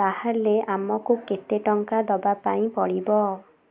ତାହାଲେ ଆମକୁ କେତେ ଟଙ୍କା ଦବାପାଇଁ ପଡିବ